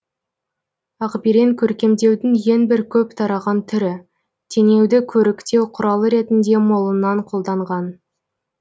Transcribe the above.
ақберен көркемдеудің ең бір көп тараған түрі теңеуді көріктеу құралы ретінде молынан қолданған